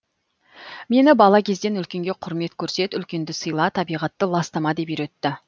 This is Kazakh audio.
мені бала кезден үлкенге құрмет көрсет үлкенді сыйла табиғатты ластама деп үйретті